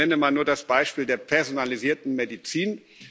Ich nenne mal nur das Beispiel der personalisierten Medizin.